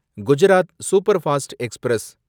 Gujarat superfast express